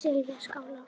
Selfjallaskála